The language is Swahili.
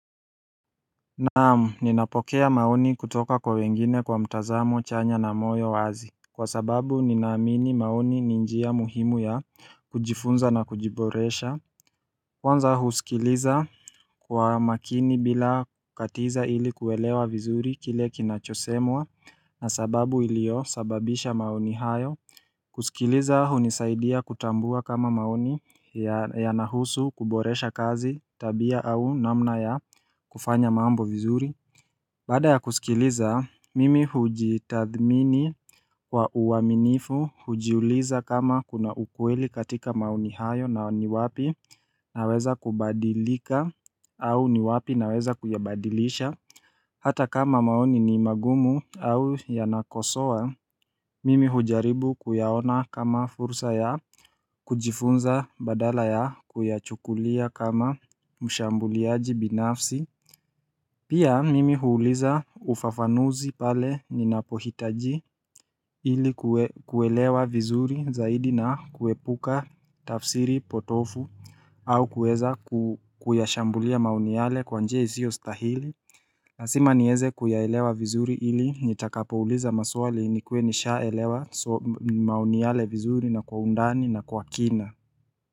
Naam ninapokea maoni kutoka kwa wengine kwa mtazamo chanya na moyo wazi Kwa sababu ninaamini maoni ni njia muhimu ya kujifunza na kujiboresha Kwanza husikiliza kwa makini bila kukatiza ili kuelewa vizuri kile kinachosemwa na sababu ilio sababisha maoni hayo kusikiliza hunisaidia kutambua kama maoni yanahusu kuboresha kazi tabia au namna ya kufanya mambo vizuri Baada ya kusikiliza, mimi hujitadhmini wa uaminifu hujiuliza kama kuna ukweli katika maoni hayo na ni wapi naweza kubadilika au ni wapi naweza kuyabadilisha Hata kama maoni ni magumu au yanakosoa, mimi hujaribu kuyaona kama fursa ya kujifunza badala ya kuyachukulia kama mshambuliaji binafsi Pia mimi huuliza ufafanuzi pale ninapohitaji ili kuelewa vizuri zaidi na kuepuka tafsiri potovu au kuweza kuyashambulia maoni yale kwanjia isio stahili lazima niweze kuyaelewa vizuri ili nitakapouliza maswali ni kue nisha elewa maoni yale vizuri na kwa undani na kwa kina.